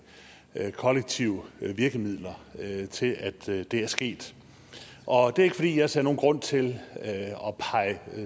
kollektive virkemidler til at det er sket og det er ikke fordi jeg ser nogen grund til